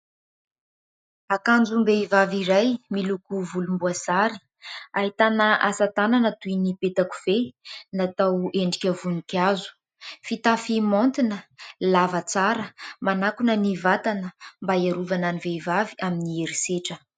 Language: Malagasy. Akanjom-behivavy iray miloko volomboasary, ahitana asa tanana toy ny peta-kofehy natao endrika voninkazo, fitafy maontina, lava tsara, manakona ny vatana mba hiarovana ny vehivavy amin'ny herisetra.